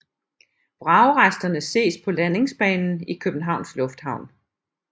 Vragresterne ses på landingsbanen i Københavns Lufthavn